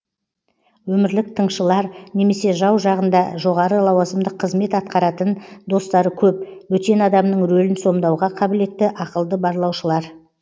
өмірлік тыңшылар немесе жау жағында жоғары лауазымдық қызмет атқаратын достары көп бөтен адамның рөлін сомдауға қабілетті ақылды барлаушылар